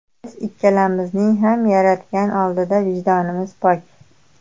Biz ikkalamizning ham Yaratgan oldida vijdonimiz pok.